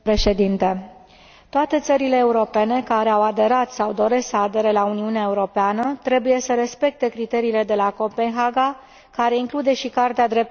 Toate țările europene care au aderat sau doresc să adere la Uniunea Europeană trebuie să respecte criteriile de la Copenhaga, care includ și Carta drepturilor fundamentale.